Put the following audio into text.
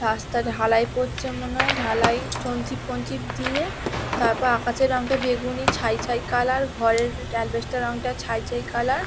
রাস্তা ঢালাই করছে মনে হয়। ঢালাই স্টোন চিপ ফোন -চিপ দিয়ে। তারপর আকাশের রং টা বেঙ্গুনি ছাই ছাই কালার ঘরের অ্যাসবেস্টের এর রং টা ছাই ছাই কালার ।